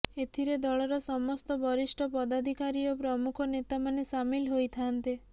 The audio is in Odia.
ଏଥିରେ ଦଳର ସମସ୍ତ ବରିଷ୍ଠ ପଦାଧିକାରୀ ଓ ପ୍ରମୁଖ ନେତାମାନେ ସାମିଲ ହୋଇଥାନ୍ତେ